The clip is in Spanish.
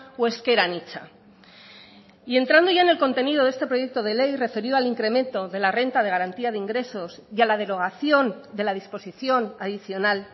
o ezker anitza y entrando ya en el contenido de este proyecto de ley referido al incremento de la renta de garantía de ingresos y a la derogación de la disposición adicional